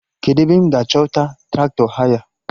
Kedụ ebe m ga-achọta Traktọ haya?